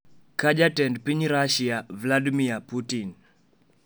ka Jatend piny Rusia, Vladimir Putin